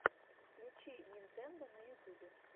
включи нинтендо на ютюбе